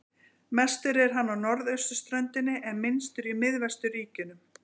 Mestur er hann á norðausturströndinni en minnstur í miðvesturríkjunum.